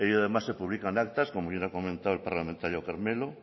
además se publican actas como bien ha comentado el parlamentario carmelo